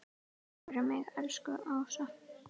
Takk fyrir mig, elsku Ása.